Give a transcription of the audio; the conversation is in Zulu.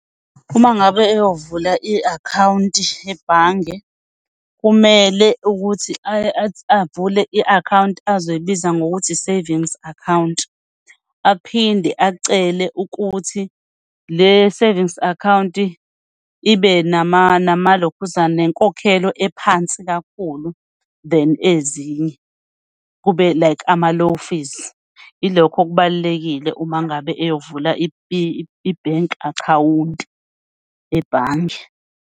Uma ngabe eyovula i-akhawunti ebhange, kumele ukuthi avule i-akhawunti azoyibiza ngokuthi i-savings account, aphinde acele ukuthi le savings account ibe namalokhuzana nenkokhelo ephansi kakhulu than ezinye, kube like ama-low fees. Ilokho okubalulekile uma ngabe eyovula i-bank account ebhange.